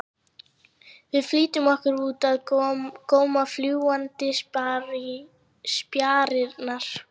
Við flýttum okkur út að góma fljúgandi spjarirnar.